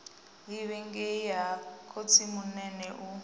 livha ngei ha khotsimunene u